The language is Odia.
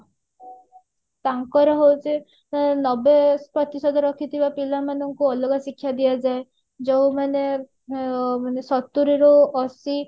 ତାଙ୍କର ହଉଛି ଅ ନବେ ପ୍ରତିଶତ ରଖିଥିବା ପିଲା ମାନଙ୍କୁ ଅଲଗା ଶିକ୍ଷା ଦିଆଯାଏ ଯୋଉମାନେ ଅ ସତୁରିରୁ ଅଶି